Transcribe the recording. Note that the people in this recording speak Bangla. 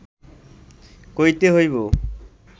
কইতে হইব